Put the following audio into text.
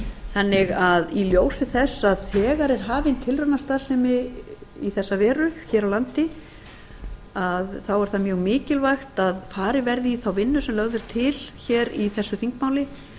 þannig að í ljósi þess að þegar er hafin tilraunastarfsemi í þessa veru hér á landi er það mjög mikilvægt að farið verði í þá vinnu sem lögð er til hér í þessu þingmáli